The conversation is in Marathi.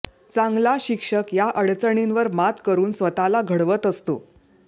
चांगला शिक्षक या अडचणींवर मात करून स्वतःला घडवत असतो